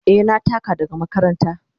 Eh, na taka daga makaranta.